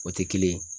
O tɛ kelen ye